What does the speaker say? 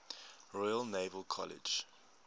royal naval college